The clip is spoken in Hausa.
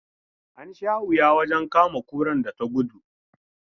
An sha wuya wajen kama kurar da ta gudu.